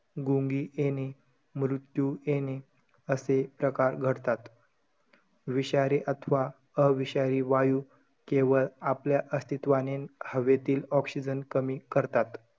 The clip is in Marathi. गुंगी येणे, मृत्यू येणे असे प्रकार घडतात. विषारे अथवा अविषारी वायू, केवळ आपल्या आस्तित्वाने हवेतील oxygen कमी करतात.